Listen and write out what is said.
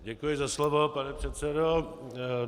Děkuji za slovo, pane předsedo.